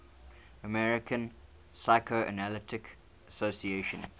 american psychoanalytic association